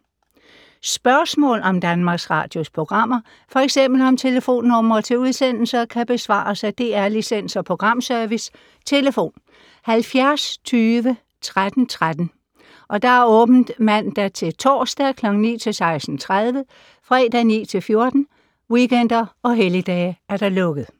Spørgsmål om Danmarks Radios programmer, f.eks. om telefonnumre til udsendelser, kan besvares af DR Licens- og Programservice: tlf. 70 20 13 13, åbent mandag-torsdag 9.00-16.30, fredag 9.00-14.00, weekender og helligdage: lukket.